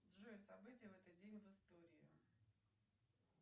джой события в этот день в истории